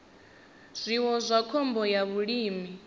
zwiwo na khombo ya vhulimi